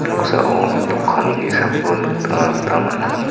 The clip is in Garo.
noksao dokan ge·sako nikna gita man·a.